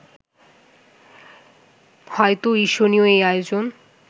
হয়তো ঈর্ষণীয় এই আয়োজন